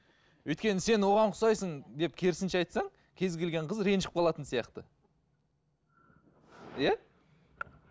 өйткені сен оған ұқсайсың деп керісінше айтсаң кез келген қыз ренжіп қалатын сияқты иә